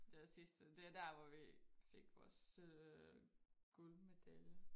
Det var sidste det er dér vi fik vores guldmedalje